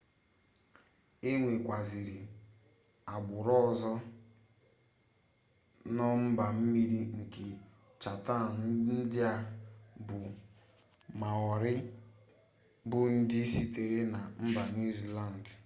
enwekwaziri agburu ozo no mba-mmiri nke chatham ndia bu maori bu ndi sitere na mba new zealand